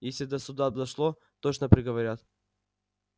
если до суда дошло точно приговорят